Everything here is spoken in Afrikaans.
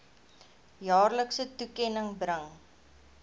jaarlikse toekenning bring